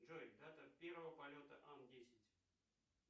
джой дата первого полета ан десять